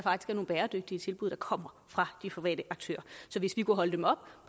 er nogle bæredygtige tilbud der kommer fra de private aktører så hvis vi kunne holde dem op